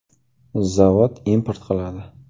“Zavod import qiladi.